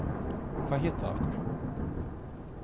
Hvað hét það aftur?